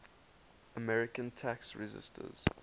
american tax resisters